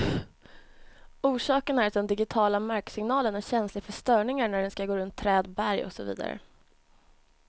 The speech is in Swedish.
Orsaken är att den digitiala marksignalen är känslig för störningar när den skall gå runt träd, berg och så vidare.